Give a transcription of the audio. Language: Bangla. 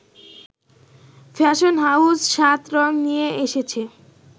ফ্যাশন হাউস ৭রং নিয়ে এসেছে